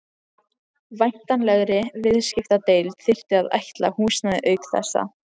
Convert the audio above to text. Væntanlegri viðskiptadeild þyrfti að ætla húsnæði auk þessa.